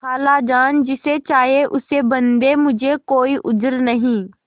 खालाजान जिसे चाहें उसे बदें मुझे कोई उज्र नहीं